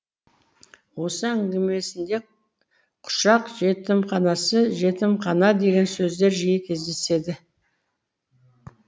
осы әңгімесінде құшақ жетімханасы жетімхана деген сөздер жиі кездеседі